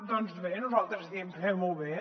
doncs bé nosaltres diem fem ho bé